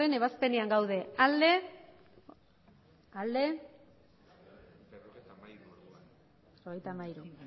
ebazpenean gaude emandako botoak hirurogeita hamairu